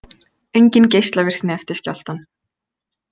Engin geislavirkni eftir skjálftann